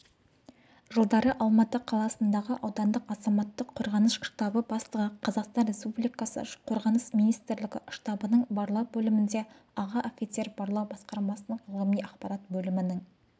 жылдары алматы қаласындағы аудандық азаматтық қорғаныс штабы бастығы қазақстан республикасы қорғаныс министрлігі штабының барлау бөлімінде аға офицер барлау басқармасының ғылыми-ақпарат бөлімінің